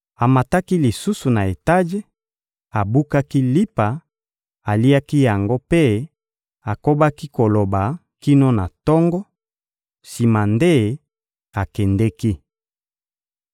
Amataki lisusu na etaje, abukaki lipa, aliaki yango mpe akobaki koloba kino na tongo, sima nde akendeki.